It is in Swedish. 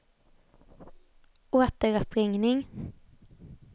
återuppringning